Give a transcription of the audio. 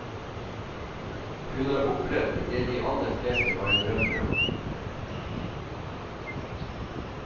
Hun har opplevd det de aller fleste bare drømmer om.